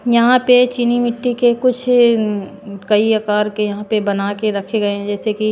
यहां पे चीनी मिट्टी के कुछ अ कई आकर के यहां पे बना के रखे गए है जैसे की--